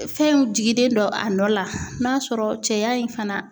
Fɛnw jigilen don a nɔ la n'a sɔrɔ cɛya in fana